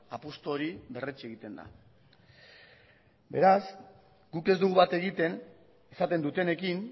apustu hori berretsi egiten da beraz guk ez dugu bat egiten esaten dutenekin